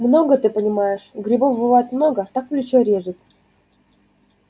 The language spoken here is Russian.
много ты понимаешь грибов бывает много так плечо режет